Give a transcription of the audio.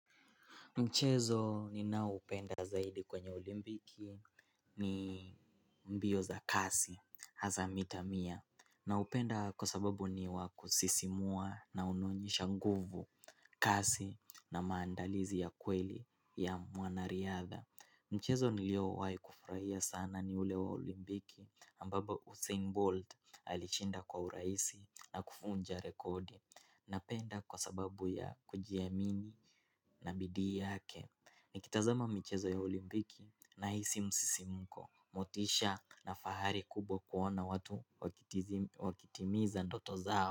Mchezo ninao upenda zaidi kwenye olimpiki ni mbio za kasi hasa mita mia. Naupenda kwa sababu ni wakusisimua na unaonyesha nguvu kasi na maandalizi ya kweli ya mwanariadha. Mchezo niliowai kufurahia sana ni ule wa olimpiki ambao Usain Bolt alishinda kwa urahisi na kuvunja rekodi. Napenda kwa sababu ya kujiamini na bidii yake. Nikitazama michezo ya olimpiki na hisi msisimko. Motisha na fahari kubwa kuona watu wakitimiza ndoto zao.